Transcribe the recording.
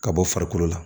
Ka bɔ farikolo la